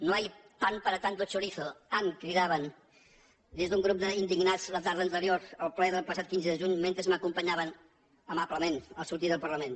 no hay pan para tanto chorizo dignats la tarda anterior al ple del passat quinze de juny mentre m’acompanyaven amablement al sortir del parlament